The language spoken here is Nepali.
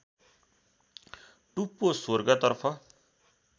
टुप्पो स्वर्गतर्फ